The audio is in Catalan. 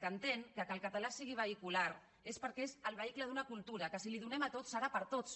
que entén que el català sigui vehicular és perquè és el vehicle d’una cultura que si la donem a tots serà per a tots